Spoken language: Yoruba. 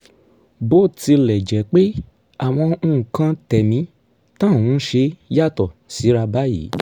bó tilẹ̀ jẹ́ pé àwọn nǹkan tẹ̀mí tá à ń ṣe yàtọ̀ síra báyìí